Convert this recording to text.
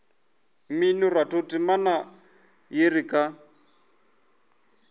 mminoratho temana ya re ka